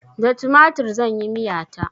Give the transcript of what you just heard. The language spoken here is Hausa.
Da tumatir zan yi miya ta.